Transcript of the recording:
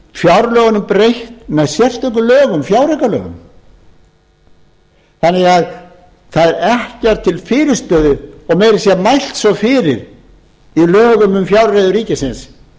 fjárlögunum breytt með sérstökum lögum fjáraukalögum þannig að það er ekkert til fyrirstöðu og meira að segja mælt svo fyrir í lögum um fjárreiður ríkisins